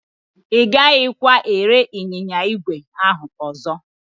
Ị gaghịkwa ere ịnyịnya ígwè ahụ ọzọ.